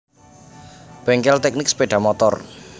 Bengkel Teknik Sepeda Motor